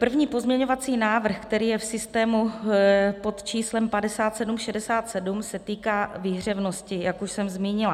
První pozměňovací návrh, který je v systému pod číslem 5767, se týká výhřevnosti, jak už jsem zmínila.